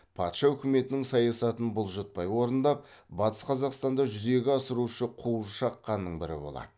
патша өкіметінің саясатын бұлжытпай орындап батыс қазақстанда жүзеге асырушы қуыршақ ханның бірі болады